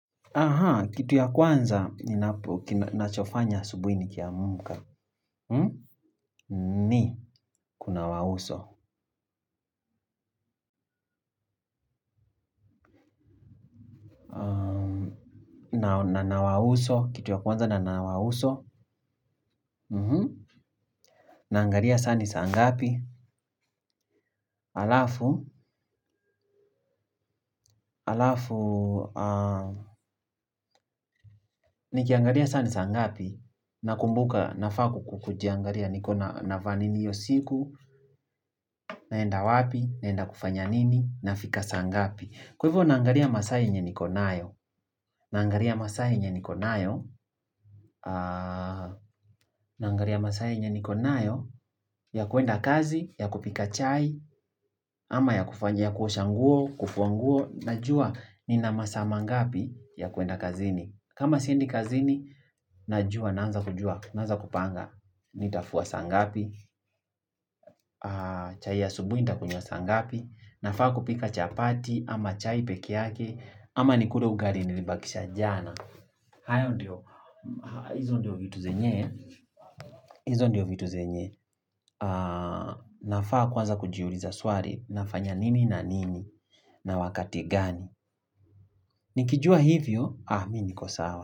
Kitu ya kwanza, ninapo, nachofanya asubuini kia muka. Ni, kuna wauso. Na nawauso, kitu ya kwanza na nawauso. Naangalia saa ni saa ngapi. Alafu, alafu ni kiangaria saa ni saangapi. Nakumbuka, nafaku kukujiangaria niko na vaanini iyosiku, naenda wapi, naenda kufanya nini, nafika saangapi. Kwa hivyo naangaria masaaye nye niko nayo. Naangaria masaaye nyenikonayo, ya kuenda kazi, ya kupika chai, ama ya kufanyia kuoshanguo, kufuanguo, na jua ni na masaama ngapi ya kuenda kazini. Kama siendi kazini, na jua, naanza kujua, naanza kupanga, ni tafua sa ngapi, chai ya subu ni tafua sa ngapi, na faa kupika chapati, ama chai peke yake, ama ni kule ugari ni libakisha jana. Hayo ndio. Izo ndio vitu zenye izo ndio vitu zenye nafaa kuwaza kujiuliza swari. Nafanya nini na nini. Na wakati gani. Nikijua hivyo miniko sawa.